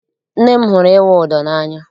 Nne m hụrụ ịwụ ụdọ n'anya.